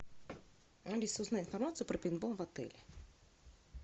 алиса узнай информацию про пейнтбол в отеле